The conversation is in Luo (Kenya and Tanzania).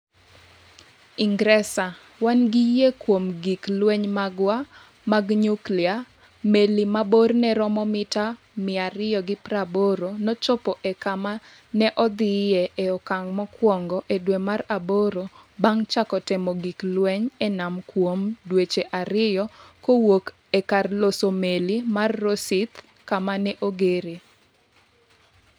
Ingresa: Wan gi yie kuom gik lweny magwa mag nyuklia Meli ma borne romo mita 280 nochopo e kama ne odhie e okang’ mokwongo e dwe mar aboro bang’ chako temo gik lweny e nam kuom dweche ariyo kowuok e kar loso meli mar Rosyth kama ne ogeree.